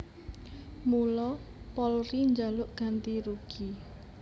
Mula Polri njaluk ganti rugi